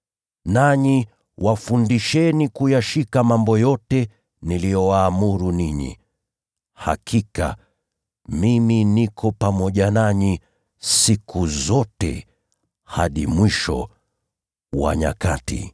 nanyi wafundisheni kuyashika mambo yote niliyowaamuru ninyi. Hakika mimi niko pamoja nanyi siku zote, hadi mwisho wa nyakati.”